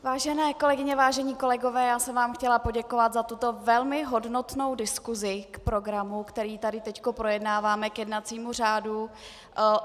Vážené kolegyně, vážení kolegové, já jsem vám chtěla poděkovat za tuto velmi hodnotnou diskusi k programu, který tady teď projednáváme, k jednacímu řádu.